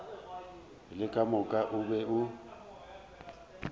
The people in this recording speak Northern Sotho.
le ka moka o be